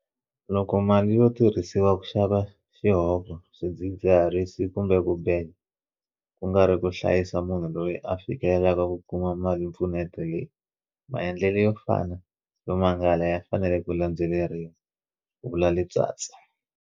Loko mali yo tirhisiwa ku xava xihoko, swidzidziharisi kumbe ku beja, ku nga ri ku hlayisa munhu loyi a fikelelaka ku kuma malimpfuneto leyi, maendlelo yo fana yo mangala ya fanele ku landzeleriwa, ku vula Letsatsi.